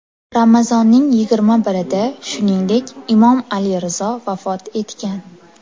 Ramazonning yigirma birida, shuningdek, Imom Ali Rizo vafot etgan.